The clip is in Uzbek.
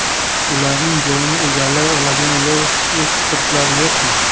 Ularning joyini egallay oladigan yosh ekspertlar yo‘qmi?